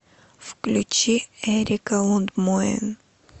включи эрика лундмоен